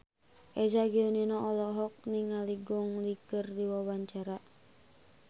Eza Gionino olohok ningali Gong Li keur diwawancara